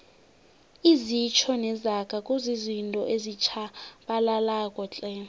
izitjho nezaga kuzizinto ezitjhabalalako tle